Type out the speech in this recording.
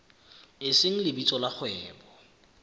e seng lebitso la kgwebo